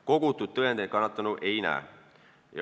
Kogutud tõendeid kannatanu ei näe.